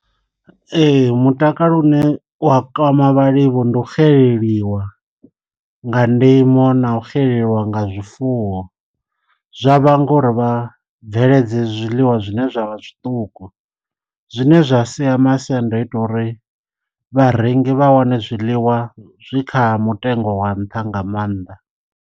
Ee mutakalo une u a kwama vhalimi vho ndu xeleleliwa nga ndimo na u xeleliwa nga zwifuwo, zwa vhanga uri vha bveledze zwiḽiwa zwine zwavha zwiṱuku zwine zwa sia masiandoitwa uri vharengi vha wane zwiḽiwa zwi kha mutengo wa nṱha nga maanḓa.